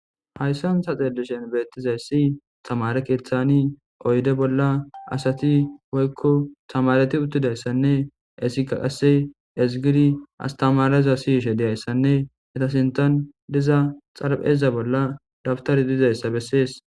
Haysan ha'i ta xelishin beetizaysi tamare keethani oyde bollani adati woyko tamareti uttidaysanne hesika qase ezgidi astamareza siyishe dizaysanne eta sinthan diza xarapheza bolla dawtarey dizausa besses.